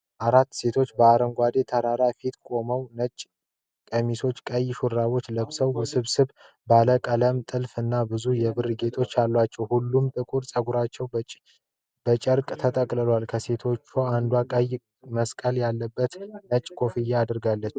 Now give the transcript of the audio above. አራት ሴቶች በአረንጓዴ ተራራ ፊት ቆመዋል። ነጭ ቀሚሶችና ቀይ ሹራቦች ለብሰዋል። ውስብስብ ባለብዙ ቀለም ጥልፍ እና ብዙ የብር ጌጣጌጦች አሏቸው። ሁሉም ጥቁር ፀጉራቸውን በጨርቅ ጠቅልለዋል። ከሴቶቹ አንዷ ቀይ መስቀል ያለበት ነጭ ኮፍያ አድርጋለች።